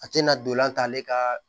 A tɛna dolan k'ale ka